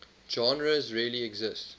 genres really exist